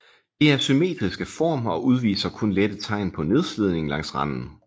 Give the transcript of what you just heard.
Det er symmetrisk af form og udviser kun lette tegn på nedslidning langs randen